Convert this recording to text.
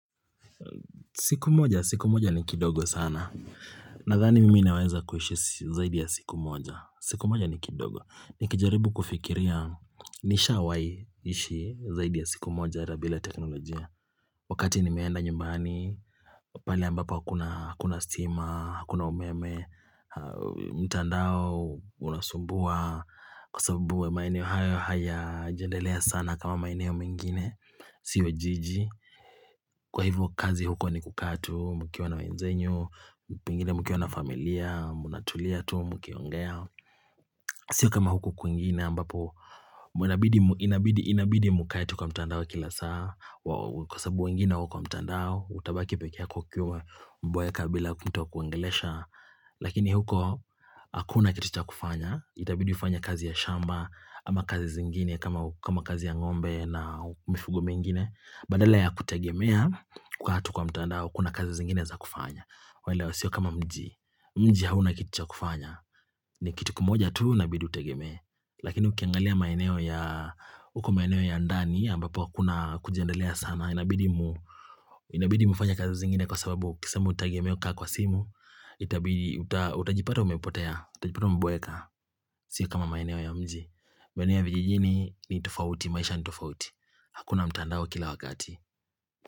Siku moja, siku moja ni kidogo sana Nathani mimi naweza kuhishi zaidi ya siku moja siku moja ni kidogo Nikijaribu kufikiria nishawai ishi zaidi ya siku moja Rabila teknolojia Wakati nimeenda nyumbani Pali ambapo hakuna stima, hakuna umeme mtandao, unasumbua Kwa sababu maeneo haya hayajandelea sana kama maeneo mengine Sio jiji Kwa hivyo kazi huko ni kukaa tu mukiwa na wenzenyu Mukiwa na familia mnatulia tu mkiongea Sio kama huko kwingine ambapo Inabidi mkae tu kwa mtandao kila saa kwa sabu wengine wako mtandao utabaki peke yako ukiwa umeboeka bila kutokuongelesha Lakini huko hakuna kitu cha kufanya itabidi ufanye kazi ya shamba ama kazi zingine kama kazi ya ngombe na mifugo mengine badala ya kutegemea kukaa tu kwa mtandao kuna kazi zingine za kufanya waelewa sio kama mji mji hauna kitu cha kufanya ni kitu kimoja tulu inabidi utegemee Lakini ukiangalia maeneo ya uko maeneo ya ndani ambapo hakuna kujiendelea sana Inabidi mfanye kazi zingine Kwa sababu ukisema utegemee kukaa kwa simu Itabidi utajipata umepotea au pia umeboeka Sio kama maineo ya mji Maneo ya vijijini ni tofauti maisha ni tofauti Hakuna mtandao kila wakati.